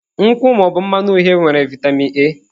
Nkwụ ma ọ bụ mmanụ uhie nwere vitamin A.